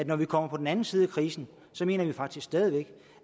når vi kommer på den anden side af krisen mener vi faktisk stadig væk